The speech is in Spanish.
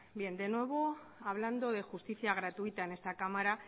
de nuevo hablando de justicia gratuita en esta cámara